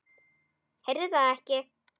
Heyri það ekki.